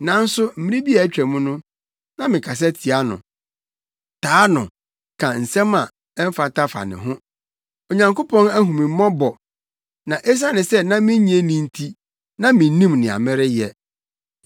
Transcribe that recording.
Nanso mmere bi a atwam no, na mekasa tia no, taa no, ka nsɛm a ɛmfata fa ne ho. Onyankopɔn ahu me mmɔbɔ na esiane sɛ na minnye nni nti, na minnim nea mereyɛ.